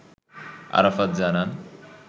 আরাফাত জানান